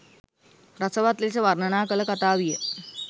රසවත් ලෙස වර්ණනා කළ කතාවිය.